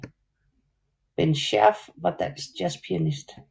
Bent Schærff var en dansk jazzpianist